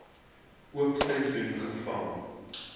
oop seisoen gevang